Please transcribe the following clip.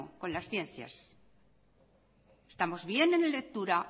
con las ciencias estamos bien en lectura